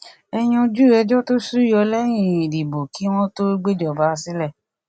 ẹ yanjú ẹjọ tó sú yọ lẹyìn ìdìbò kí wọn tó gbéjọba sílẹ